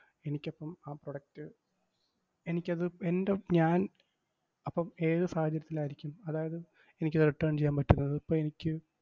എനിക്കപ്പം ആ product എനിക്കത് എൻറെ ഉം ഞാൻ അപ്പം ഏത് സാഹചര്യത്തിലായിരിക്കും? അതായത് എനിക്കത് return ചെയ്യാൻ പറ്റുന്നത്? ഇപ്പം എനിക്ക്,